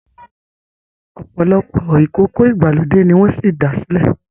opolopo ìkókó ìgbàlódé ní wón sí dá silẹ